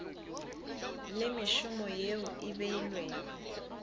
le mešomo yeo e beilwego